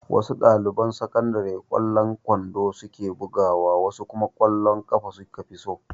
Wasu ɗaliban sakandare ƙwallon kwando su ke bugawa wasu kuma ƙwallon ƙafa su ka fi so.